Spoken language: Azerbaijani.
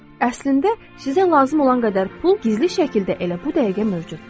Əslində, sizə lazım olan qədər pul gizli şəkildə elə bu dəqiqə mövcuddur.